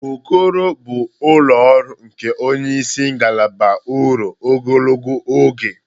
Okoro bụ ụlọ ọrụ nke onye isi ngalaba ruo ogologo oge.